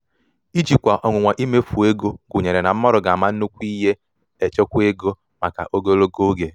ijikwa ọnwụnwa imefu um ego gunyere na mmadu ga ama nnukwu ihe echekwa ego maka echekwa ego maka ogologo oge